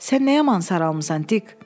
Sən nə yaman saralmısan, Dik.